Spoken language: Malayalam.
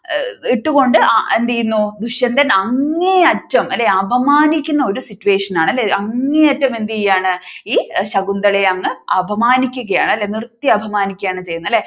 ഇട്ടുകൊണ്ട് എന്ത് ചെയ്യുന്നു ദുഷ്യന്തൻ അങ്ങേ അറ്റം അല്ലെ അപമാനിക്കുന്ന ഒരു ആണല്ലേ അങ്ങേ അറ്റം എന്ത് ചെയ്യുകയാണ് ഈ ശകുന്തളയെ അങ്ങ് അപമാനിക്കുകയാണ് അല്ലെ നിർത്തി അപമാനിക്കുകയാണ് ചെയ്യുന്നത് അല്ലെ